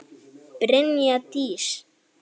Brynja Dís.